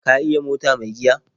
Ka iya mota mai giya?